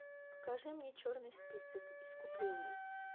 покажи мне черный список искупление